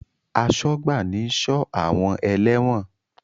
Asọ́gbà ni ń sọ́ àwọn ẹlẹ́wọ̀n